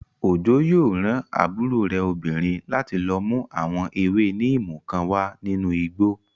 Òjó yóò rán àbúrò rẹ̀ obìnrin láti lọ mú àwọn ewé níìmù kan wá nínú igbó